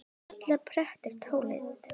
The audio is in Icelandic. illu pretta táli